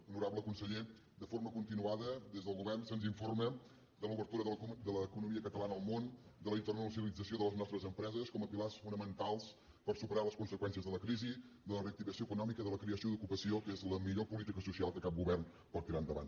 honorable conseller de forma continuada des del govern se’ns informa de l’obertura de l’economia catalana al món de la internacionalització de les nostres empreses com a pilars fonamentals per superar les conseqüències de la crisi de la reactivació econòmica i de la creació d’ocupació que és la millor política social que cap govern pot tirar endavant